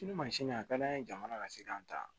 Ni mansin a ka d'an ye jamana ka se k'an ta